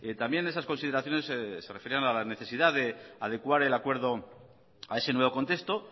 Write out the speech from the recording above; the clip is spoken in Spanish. también esas consideraciones se referían a la necesidad de adecuar el acuerdo a ese nuevo contexto